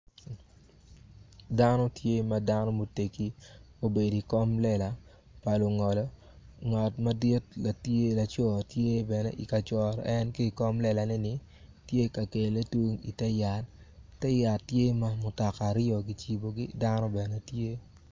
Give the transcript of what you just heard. Dano tye ma dano mutegi obedo iwi kom lela pa lungolo ngat madit ma tye laco tye bene ka coro en ki i kom lelaneni tye ka kele tung ite yat ite yat tye ma mutoka aryo kicibogi dano bene tye.